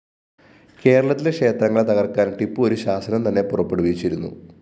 കേരളത്തിലെ ക്ഷേത്രങ്ങള്‍ തകര്‍ക്കാന്‍ ടിപ്പു ഒരു ശാസനം തന്നെ പുറപ്പെടുവിച്ചിരുന്നു